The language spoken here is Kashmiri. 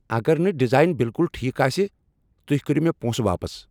اگر نہٕ ڈیزائن بالکل ٹھیک آسہ، تُہۍ کریو مےٚ پونٛسہٕ واپس۔